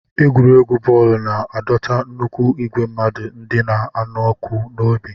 Egwuregwu bọọlụ na-adọta nnukwu igwe mmadụ ndị na-anụ ọkụ n'obi.